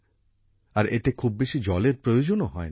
আর এতে খুব বেশি জলের প্রয়োজনও হয় না